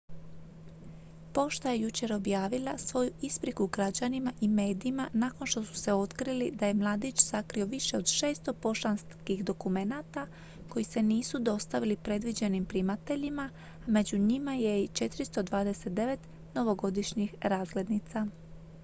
pošta je jučer objavila svoju ispriku građanima i medijima nakon što su otkrili da je mladić sakrio više od 600 poštanskih dokumenata koji se nisu dostavili predviđenim primateljima a među njima je i 429 novogodišnjih razglednica